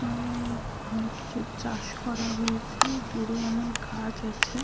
চাষ করা হয়েছে দূরে অনেক গাছ আছে।